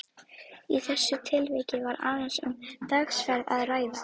Í þessu tilviki var aðeins um dagsferð að ræða.